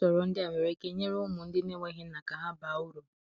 usọrọ ndi a nwere ike nyere ụmụ ndi na enweghi nna ka ha baa ụrụ